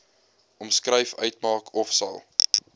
omskryf uitmaak ofsal